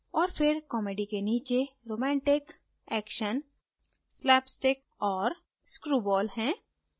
और फिर comedy के नीचे romantic action slapstick और screwball है